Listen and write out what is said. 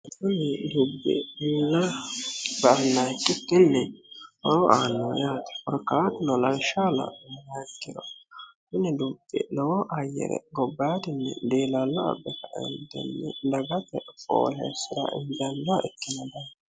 Kunni dubbi Mu'la ba'anoha ikkikin horo annoho yaatte korikkatuno lawishshaho la'numoha ikkiro Kuni dubbi lowo ayyere gobayidinni dilalo abe kaenitini daggate foolesira injannoha ikino daafira